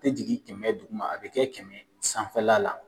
A tɛ jigin kɛmɛ duguma a bɛ kɛ kɛmɛ sanfɛla la